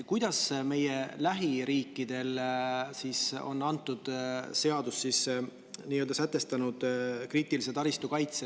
Kuidas meie lähiriigid on kriitilise taristu kaitse seaduses sätestanud?